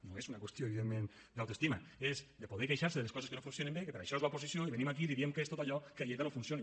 no és una qüestió evidentment d’autoestima és de poder queixar se de les coses que no funcionen bé que per a això és l’oposició i venim aquí i li diem què és tot allò que a lleida no funciona